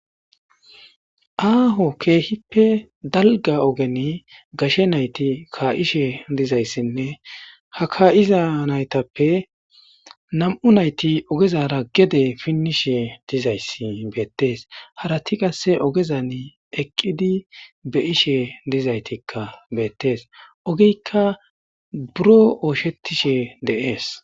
Aaho keehippe dalga ogeni gashe nayti kaa7ishe dizayssinne ha ka7iza naytappe nam7u nayti ogezara gede pinnishe dizayssi beettees harati qasse ogezan eqqidi beishe dizaytikka beettees ogiykka buro ooshetishe deees.